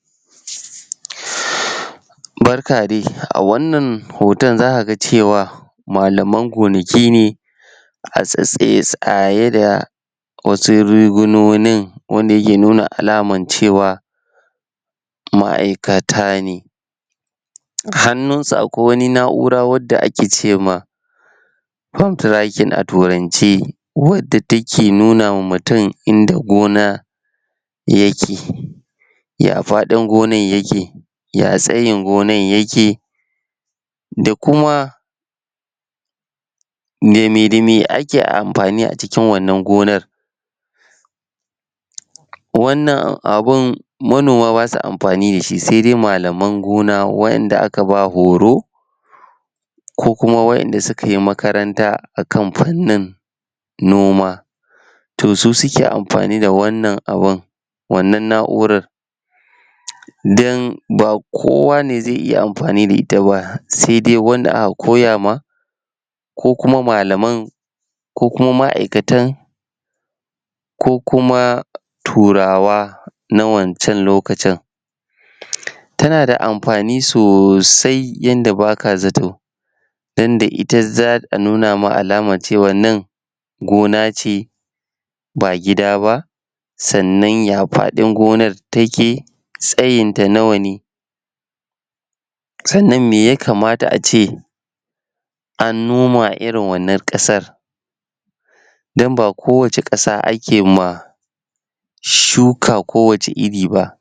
Shhhh Barka dai a wannan hoton za ka ga cewa malaman gonaki ne a tsaitsaye saye da wasu rigunonin wanda yake nuna alaman cewa, ma'aikata ne. Hannunsu akwai wata na'ura wadda ake ce ma phone trackin a turance, wadda take nuna ma mutum inda gona yake. Ya faɗin gonan yake ya tsayin gonan yake, da kuma da me da me ake amfani a cikinwannan gonar Wannan abun manoma ba sa amfani da shi sai dai malaman gona wa'yanda aka ba horo, ko kuma wa'yanda suka yi makaranta akan fannin noma. To su suke amfani da wannan abun, wannan na'urar don ba kowa ne zai iya amfani da ita ba, sai dai wanda aka koya ma ko kuma malaman ko kuma ma'aikatan, ko kuma turawa, na wancan lokacin. Tana da mafani sosai yadda baka zato don da ita, za'a nuna ma alamar cewan nan gona ce ba gida ba, sannan ya faɗin gonar, take tsayinta nawa ne, sannan me ya kamata ace an noma a irin wannan ƙasar. Don ba kowacce ƙasa ake ma shuka kowacce iri ba.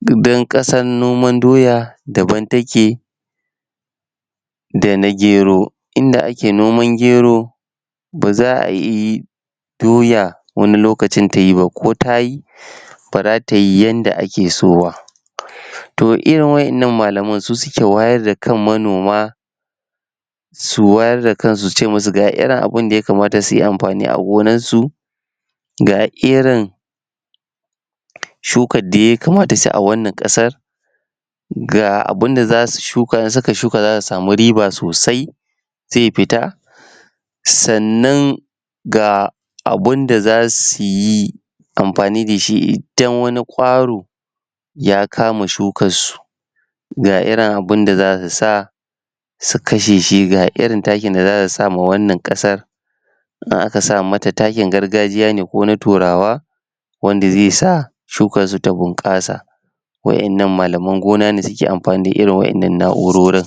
don ƙasar noman doya, daban take da na gero. Inda ake nomn gero ba za a yi doya wani lokacin ta yi ba, ko tayi ba za ta yi yadda ake so ba. To irin waɗannan malaman su suke wayar da kan manoma su wayar da kansu su ce musu ga irin abun da ya kamata suyi amfani da su a gonansu ga irin shukar da ya kamata su yi a wannan ƙasar, ga abunda za su shuka, in suka shuka za su sami riba sosai, zai fita, sannan ga abunda za su yi amfani da shi don wani ƙwaro ya kama shukar su. GA irin abunda za su sa, su kashe shi, ga irin takin da za su sama wannan ƙasar in aka sa mata takin gargajiya ne ko na turawa, wanda zai sa shukar su ta bunƙasa. Wa'yanan malaman gona ne suke amfani da irin waɗannan na'urorin.